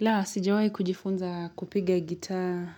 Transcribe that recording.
La, sijawai kujifunza kupiga gitaa